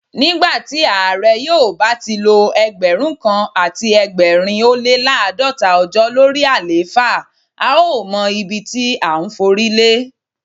Nígbàtí Ààrẹ yóò bá tilo Ẹgbẹ̀rún kan àti ẹgbẹ̀rin ólé l'àádọ́ta ọjọ́ lórí àléfà, a ó mọ ibití à ńforílé.